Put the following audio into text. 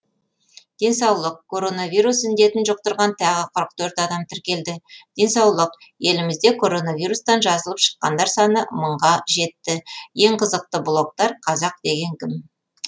денсаулық коронавирус індетін жұқтырған тағы қырық төрт адам тіркелді денсаулық елімізде коронавирустан жазылып шыққандар саны мыңға жетті ең қызықты блогтар қазақ деген кім